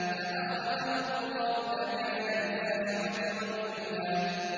فَأَخَذَهُ اللَّهُ نَكَالَ الْآخِرَةِ وَالْأُولَىٰ